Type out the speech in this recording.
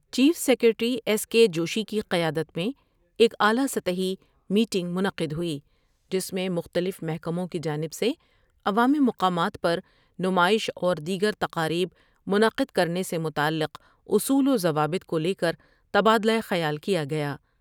Chief secretary S K Joshi کی قیادت میں ایک اعلی سطحی میٹنگ منعقد ہوئی جس میں مختلف محکموں کی جانب سے عوام مقامات پر نمائش اور دیگر تقاریب منعقد کرنے سے متعلق سے اصول وضوابط کو لے کر تبادلہ خیال کیا گیا ۔